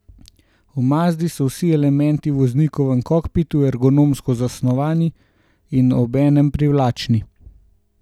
V Mazdi so vsi elementi v voznikovem kokpitu ergonomsko zasnovani in obenem privlačni.